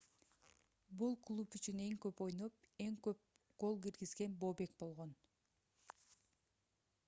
бул клуб үчүн эң көп ойноп эң көп гол киргизген бобек болгон